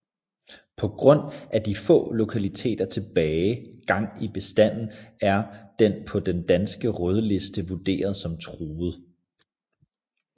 På grund af de få lokaliteter tilbage gang i bestanden er den på Den danske Rødliste vurderet som Truet